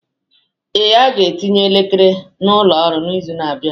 Ee, aga etinye elekere n'ụlọ ọrụ n'izu na-abịa.